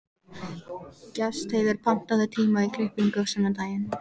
Gestheiður, pantaðu tíma í klippingu á sunnudaginn.